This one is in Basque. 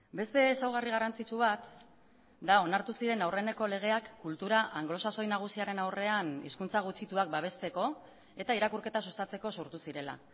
beste ezaugarri garrantzitsu bat da onartu ziren aurreneko legeak kultura anglosaxoi nagusiaren aurrean hizkuntza gutxituak babesteko eta irakurketa sustatzeko sortu zirela